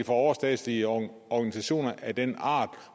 overstatslige organisationer af den art